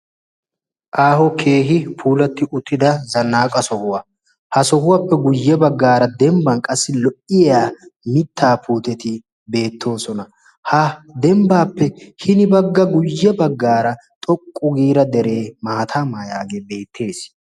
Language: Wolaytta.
Aaho keehi puulatti uttida zannaaqa sohuwaa ha sohuwaappe guyye baggaara dembban qassi lo"iya mittaa putteti beettoosona ha dembbaappe hini bagga guyye baggaara xoqqu giira deree maatamaa yaagee beettees.